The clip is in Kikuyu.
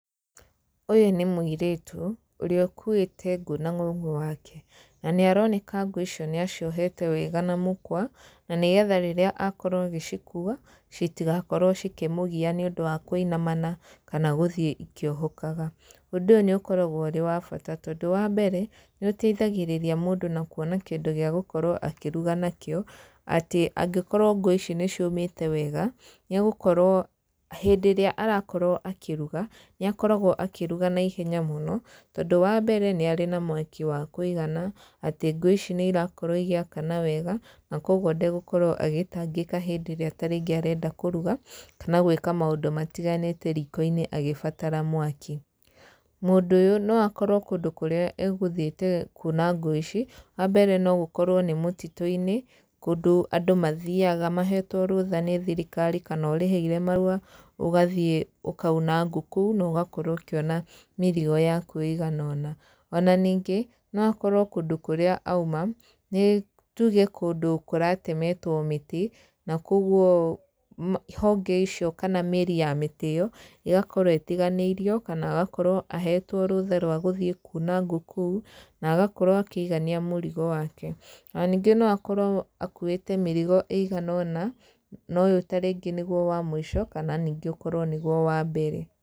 Ũyũ nĩ mũirĩtu, ũrĩa ũkuĩte ngũ na ngongo wake, na nĩ aroneka ngũ icio nĩ aciohete wega na mũkwa, na nĩgetha rĩrĩa akorwo agĩcikuwa, citigakorwo ikĩmũgiya nĩ ũndũ wa kũinamana, kana gũthiĩ ikiohokaga. Ũndũ ũyũ nĩ ũkoragwo ũrĩ wa bata tondũ wa mbere, nĩ ũteithagĩrria mũndũ na kuona kĩndũ gĩa gũkorwo akĩruga nakĩo, atĩ angĩkorwo ngũ ici nĩ ciũmĩte wega, nĩ egũkorwo, hĩndĩ ĩrĩa arakorwo akĩruga, nĩ akoragwo akĩruga na ihenya mũno, tondũ wa mbere nĩ arĩ na mwaki wa kũigana, atĩ ngũ ici nĩ irakorwo igĩkana wega, na koguo ndegũkorwo agĩtangĩka hĩndĩ ĩrĩa tarĩngĩ arenda kũruga, kana gwĩka maũndũ matiganĩte riko-inĩ agĩbatara mwaki. Mũndũ ũyũ no akorwo kũndũ kũrĩa egũthiĩte kuna ngũ ici, wa mbere no gũkorwo nĩ mũtitũ-inĩ, kũndũ andũ mathiaga mahetwo rũtha nĩ thirikari kana ũrĩhĩire marũa, ũgathiĩ ũkauna ngũ kũu na ũgakorwo ũkĩona mĩrigo yaku ĩigana. Ona ningĩ no akorwo kũndũ kũrĩa aima, nĩ tuge kũndũ kũratemetwo mĩtĩ, na koguo honge icio kana mĩri ya mĩtĩ ĩyo ĩgakorwo ĩtiganĩirio, kana agakorwo ahetwo rũtha rwa gũthiĩ kuna ngũ kũu, nagakorwo akĩigania mũrigo wake. Ona ningĩ no akorwo akuĩte mĩrogo ĩigana ona, na ũyũ tarĩngĩ nĩguo wa mũico, kana ningĩ ũkorwo nĩguo wa mbere.